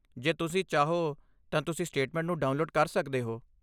ਜੇ ਤੁਸੀਂ ਚਾਹੋ, ਤਾਂ ਤੁਸੀਂ ਸਟੇਟਮੈਂਟ ਨੂੰ ਡਾਊਨਲੋਡ ਕਰ ਸਕਦੇ ਹੋ।